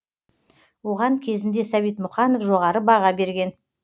оған кезінде сәбит мұқанов жоғары баға берген